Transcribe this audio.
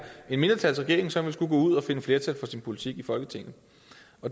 en mindretalsregering som skulle gå ud og finde flertal for sin politik i folketinget